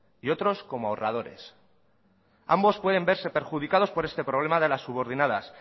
y otros como ahorradores ambos pueden verse perjudicados por este problema de la subordinadas